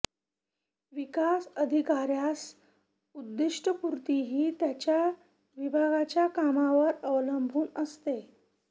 विकास अधिकाऱ्यास उद्दिष्टपूर्ती ही त्याच्या विभागाच्या कामावर अवलंबून असते